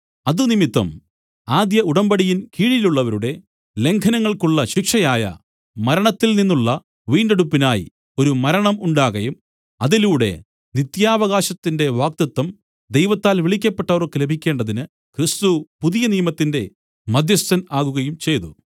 അത് നിമിത്തം ആദ്യ ഉടമ്പടിയിൻ കീഴിലുള്ളവരുടെ ലംഘനങ്ങൾക്കുള്ള ശിക്ഷയായ മരണത്തിൽ നിന്നുള്ള വീണ്ടെടുപ്പിനായി ഒരു മരണം ഉണ്ടാകയും അതിലൂടെ നിത്യാവകാശത്തിന്റെ വാഗ്ദത്തം ദൈവത്താൽ വിളിക്കപ്പെട്ടവർക്കു ലഭിക്കേണ്ടതിന് ക്രിസ്തു പുതിയ നിയമത്തിന്റെ മദ്ധ്യസ്ഥൻ ആകുകയും ചെയ്തു